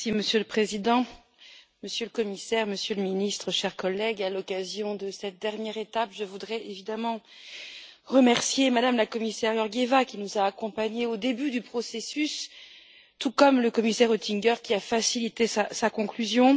Monsieur le Président, Monsieur le Commissaire, Monsieur le Ministre, chers collègues, à l'occasion de cette dernière étape, je voudrais évidemment remercier Mme la commissaire Georgieva, qui nous a accompagnés au début du processus, tout comme le commissaire Oettinger, qui a facilité sa conclusion.